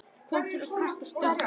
kom til kasta Sturlu.